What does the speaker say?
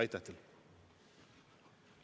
Aitäh teile!